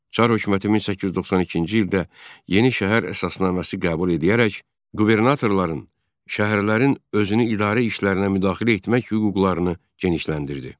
Çar hökuməti 1892-ci ildə yeni şəhər əsasnaməsi qəbul edərək qubernatorların, şəhərlərin özünü idarə işlərinə müdaxilə etmək hüquqlarını genişləndirdi.